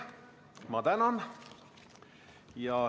Ma tänan.